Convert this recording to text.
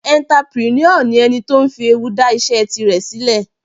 Entrepreneur ni ẹni tó fi ewu dá iṣẹ́ tirẹ̀ sílẹ̀.